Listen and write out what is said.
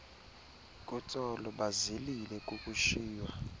kutsolo bazilile kukushiywa